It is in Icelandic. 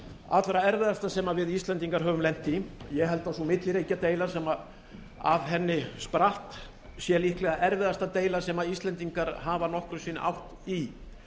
allra erfiðasta sem við íslendingar höfum lent í ég held að sú milliríkjadeila sem af henni spratt sé líklegasta erfiðasta deilan sem íslendingar hafa nokkru sinni átt í